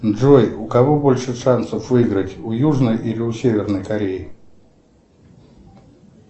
джой у кого больше шансов выиграть у южной или у северной кореи